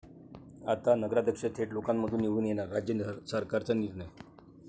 आता नगराध्यक्ष थेट लोकांमधून निवडून येणार, राज्य सरकारचा निर्णय